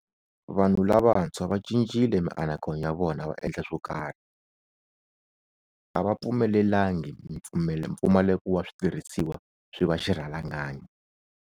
Vanhu lavantshwa vacincile mianakanyo ya vona va endla swokarhi. A va pfumelelangi mpfumaleko wa switirhisiwa swi va xirhalanganyi.